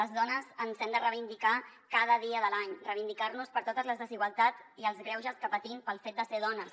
les dones ens hem de reivindicar cada dia de l’any reivindicar nos per totes les desigualtats i els greuges que patim pel fet de ser dones